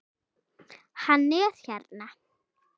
Hann er hérna